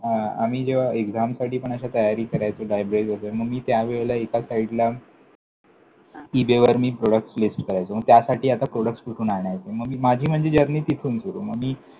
आं आम्ही एक्सामसाठी पण असे तयारी करायचो Library वगैरे मग मी त्या वेळेला एका साईडला, हां! इबेवर मी products list करायचो. मग त्यासाठी आता products कुठून आणायचे? मग मी माझी म्हणजे journey तिथून सुरु मग मी.